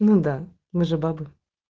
ну да мы же бабы